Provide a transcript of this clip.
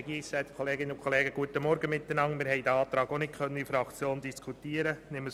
Wir haben diesen Antrag in der Fraktion auch nicht diskutieren können.